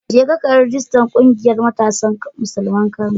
Jeka ka yi rijistar ƙungiyar Matasan Musulman Kano.